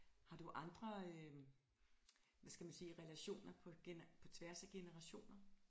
Har du andre øh hvad skal man sige relationer på tværs af generationer